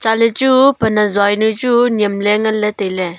chatley chu pan ajua jawnu chu niem ley ley tai ley.